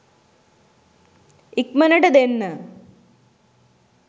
ඉක්මනට දෙන්න?